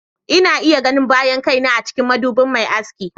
Ina iya ganin bayan kaina a cikin madubin mai aski.